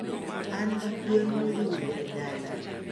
An gigwen modhuro e dala.